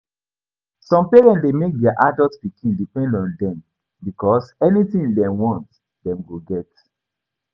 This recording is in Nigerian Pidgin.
Some parents de make their adult pikin depend on them because anything dem want dem go get